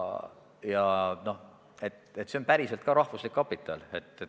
Ja see on päriselt rahvuslik kapital.